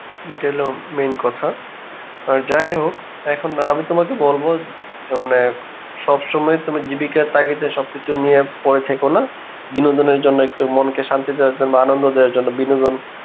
এটা হলো main কথা, আর যাইহোক এখন না আমি তোমাকে বলবো সবসময় তুমি জীবিকার তাগিদে সবকিছু নিয়ে পরে থেকোনা, বিনোদনের জন্যে একটু মনকে শান্তি দেওয়ার জন্যে আনন্দ দেওয়া র জন্যে বিনোদন